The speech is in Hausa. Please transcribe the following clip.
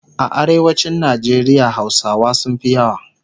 A arewacin Nigeria hausawa sunfi yawa